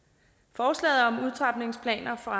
forslaget om udtrapningsplaner for